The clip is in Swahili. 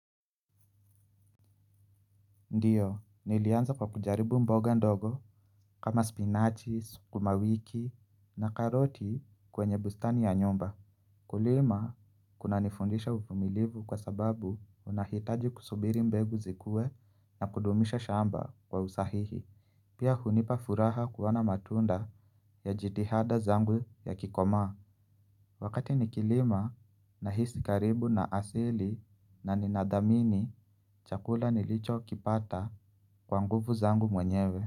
Ndiyo nilianza kwa kujaribu mboga ndogo kama spinachi sukuma wiki na karoti kwenye bustani ya nyumba. Kulima kunanifundisha uvumilivu kwa sababu unahitaji kusubiri mbegu zikuwe na kudumisha shamba kwa usahihi pia hunipa furaha kuona matunda ya jitihada zangu yakikoma. Wakati nikilima nahisi karibu na asili na ninathamini chakula nilichokipata kwa nguvu zangu mwenyewe.